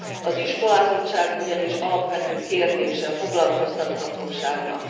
Az iskolázottság ugyanis alapvető kérdése a foglalkoztathatóságnak.